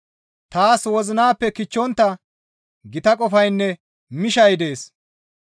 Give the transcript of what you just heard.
Taas wozinappe kichchontta gita qofaynne mishay dees.